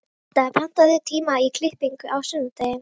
Kata, pantaðu tíma í klippingu á sunnudaginn.